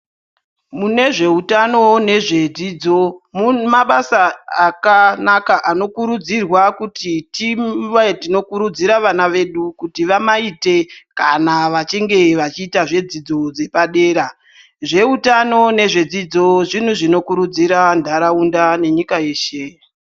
Mune zveutano nezvedzidzo mune mabasa akanaka anokurudzirwa kuti tive tinokurudzira vana vedu kuti vamaite kana vachinge vachiita zvedzidzo dzepadera. Zveutano nezvedzidzo zvintu zvinokurudzira nharaunda nenyika yeshe.